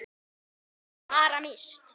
Þín Sara Mist.